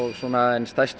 stærstu